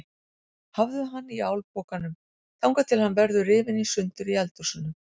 Hafðu hann í álpokanum þangað til að hann verður rifinn í sundur í eldhúsinu.